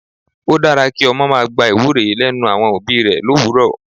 Ó dára kí ọmọ máa gba ìwúre lẹ́nu àwọn òbí rẹ l'òwúrò.